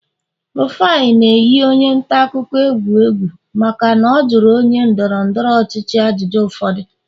Rufai a na-eyi onye ntaakụkọ egwu egwu maka na ọ jụrụ onye ndọrọ ndọrọ ọchịchị ajụjụ ụfọdụ